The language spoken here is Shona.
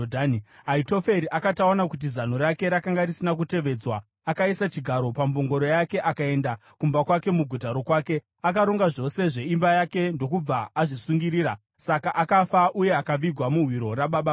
Ahitoferi akati aona kuti zano rake rakanga risina kutevedzwa, akaisa chigaro pambongoro yake akaenda kumba kwake muguta rokwake. Akaronga zvose zveimba yake ndokubva azvisungirira. Saka akafa uye akavigwa muhwiro rababa vake.